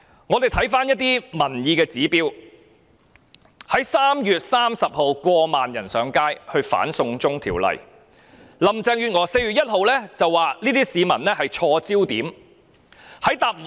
我們可參考一些民意指標 ：3 月30日有過萬人上街反對這項"送中條例"，但林鄭月娥卻在4月1日表示市民的焦點錯了。